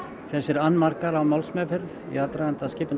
þessir annmarkar á málsmeðferð í aðdraganda skipunar